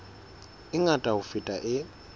e ngata ho feta e